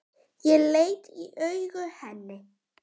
Ég leit í augu henni.